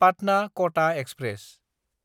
पाटना–कटा express